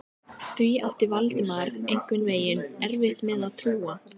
Því átti Valdimar einhvern veginn erfitt með að trúa.